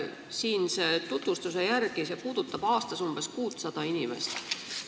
Siinse tutvustuse järgi puudutab see muudatus aastas umbes 600 inimest.